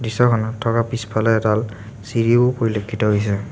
দৃশ্যখনত থকা পিছফালে এডাল চিৰিও পৰিলক্ষিত হৈছে।